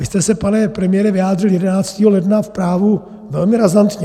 Vy jste se, pane premiére, vyjádřil 11. ledna v Právu velmi razantně.